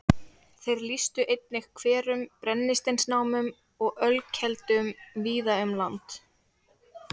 Þeir lýstu einnig hverum, brennisteinsnámum og ölkeldum víða um land.